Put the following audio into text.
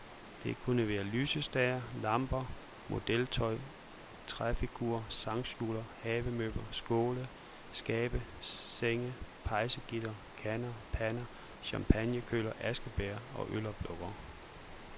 Det kunne være lysestager, lamper, modeltog, træfigurer, sangskjulere, havemøbler, skåle, skabe, senge, pejsegitre, kander, pander, champagnekølere, askebægre og øloplukkere.